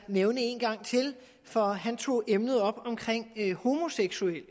nævne en gang til for han tog emnet op om homoseksuelle